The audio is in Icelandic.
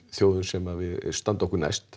þjóðum sem standa okkur næst